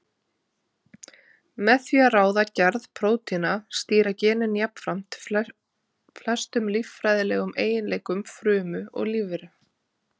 Með því að ráða gerð prótína stýra genin jafnframt flestum líffræðilegum eiginleikum frumu og lífveru.